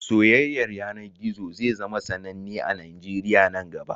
Soyayyar yanar gizo zai zama sananne a Najeriya nan gaba